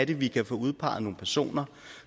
vi kan få udpeget nogle personer